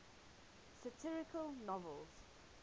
satirical novels